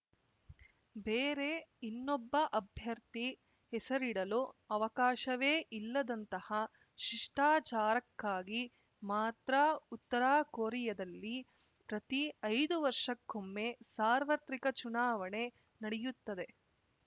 ಬೇರೆ ಇನ್ನೊಬ್ಬ ಅಭ್ಯರ್ಥಿ ಹೆಸರಿಡಲು ಅವಕಾಶವೇ ಇಲ್ಲದಂತಹ ಶಿಷ್ಟಾಚಾರಕ್ಕಾಗಿ ಮಾತ್ರ ಉತ್ತರ ಕೊರಿಯದಲ್ಲಿ ಪ್ರತಿ ಐದು ವರ್ಷಕ್ಕೊಮ್ಮೆ ಸಾರ್ವತ್ರಿಕ ಚುನಾವಣೆ ನಡೆಯುತ್ತದೆ